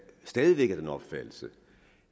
stadig væk af den opfattelse